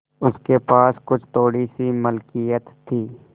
उसके पास कुछ थोड़ीसी मिलकियत थी